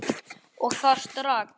Og það strax.